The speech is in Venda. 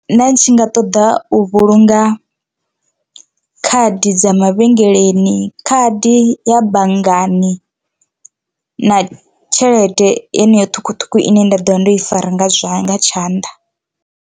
Nda ndi tshi nga ṱoḓa u vhulunga khadi dza mavhengeleni, khadi ya banngani na tshelede yeneyo ṱhukhuṱhukhu ine nda ḓovha ndo i fara nga tshanḓa.